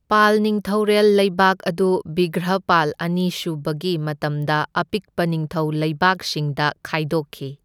ꯄꯥꯜ ꯅꯤꯡꯊꯧꯔꯦꯜ ꯂꯩꯕꯥꯛ ꯑꯗꯨ ꯕꯤꯒ꯭ꯔꯍꯄꯥꯜ ꯑꯅꯤꯁꯨꯕꯒꯤ ꯃꯇꯝꯗ ꯑꯄꯤꯛꯄ ꯅꯤꯡꯊꯧ ꯂꯩꯕꯥꯛꯁꯤꯡꯗ ꯈꯥꯏꯗꯣꯛꯈꯤ꯫